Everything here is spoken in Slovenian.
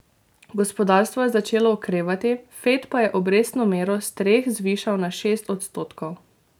Gospodarstvo je začelo okrevati, Fed pa je obrestno mero s treh zvišal na šest odstotkov.